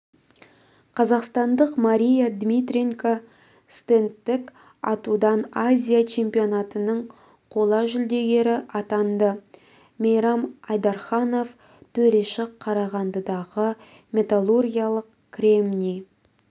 қазақстандық мария дмитриенко стендтік атудан азия чемпионатының қола жүлдегері атанды мейрам айдарханов төреші қарағандыдағы металлургиялық кремний